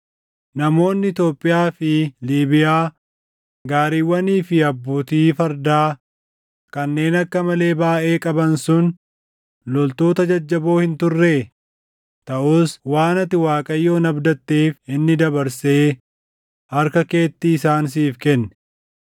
Namoonni Itoophiyaa fi Liibiyaa gaariiwwanii fi abbootii fardaa kanneen akka malee baayʼee qaban sun loltoota jajjaboo hin turree? Taʼus waan ati Waaqayyoon abdatteef inni dabarsee harka keetti isaan siif kenne.